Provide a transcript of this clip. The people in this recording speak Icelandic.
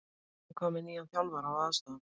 En hvað með nýjan þjálfara og aðstoðarmann?